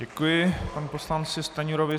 Děkuji panu poslanci Stanjurovi.